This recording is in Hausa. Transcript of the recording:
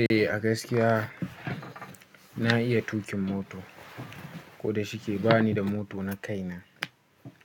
Eh, a gaskiya na iya tuƙin moto, koda shi ke bani da moto na kaina.